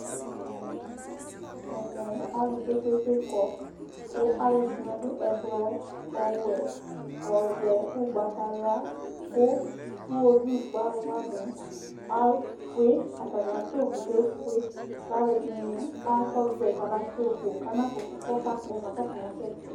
Ɛmɛ alu kpekpekpe kɔ, kʋ alu ɛdɩnɩ adu ɛblɔ, ɔwɛ, ɔvɛ, ugbatawla kʋ iwovikpɔalu wani efue Atani atʋ yi ʋkʋ, kʋ efue, kʋ alu ɛdɩnɩ afɔzɛ yi kaba du yi ʋkʋ, kʋ ana kʋtʋ, kʋ ɔkakpɔ ma, kʋ akasɛtɩ